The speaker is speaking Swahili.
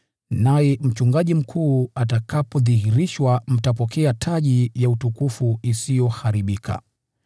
Naye Mchungaji Mkuu atakapodhihirishwa, mtapokea taji ya utukufu isiyoharibika.